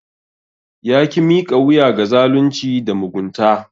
Ya ki miƙa wuya ga zalunci da mugunta.